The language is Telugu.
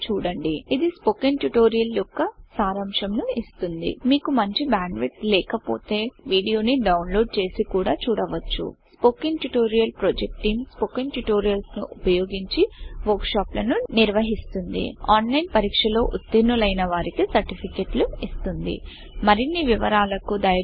ఇది స్పోకెన్ ట్యుటోరియల్ యొక్క సరంశంను ఇస్తుంది మీకు మంచి బ్యాండ్ విడ్త్ లేక పొతే వీడియో ని డౌన్లోడ్ చేసి కూడా చూడవచ్చు స్పోకెన్ ట్యుటోరియల్ ప్రాచేయండిజెక్ట్ టీం స్పోకెన్ ట్యూటోరియల్స్ ని ఉపయోగించి వర్క్ షాప్లను నిర్వహిస్తుంది ఆన్లైన్ పరీక్షలో ఉతిర్నులైన వారికీ సర్టిఫికెట్లు ఇస్తుంది మరిన్ని వివరాలకు దయచేసి contactspoken tutorial